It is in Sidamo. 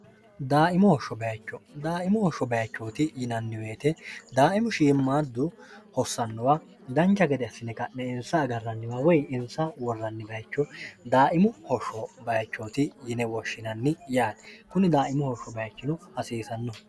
dimohobodaaimu hosho bayichooti yinannibeete daaimu shiimmaaddu hossannowa dancha gede assine ka'ne insa agarranniwa woy insa worranni bayicho daaimu hosho bayichooti yine woshshinanni yaati kunni daaimu hosho bayichino hasiisanno